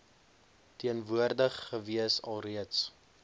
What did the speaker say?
teenwoordig gewees alreeds